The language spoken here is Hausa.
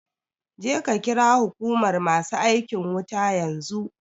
Je ka ƙira huƙumar masu aikin wuta yanzu